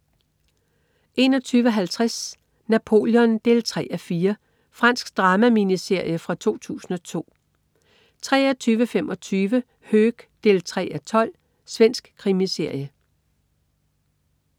21.50 Napoleon 3:4. Fransk drama-miniserie fra 2002 23.25 Höök 3:12. Svensk krimiserie